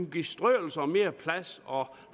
give strøelse og mere plads og